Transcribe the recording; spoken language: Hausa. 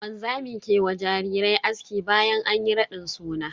Wanzami ke wa jarirai aski bayan anyi raɗin suna.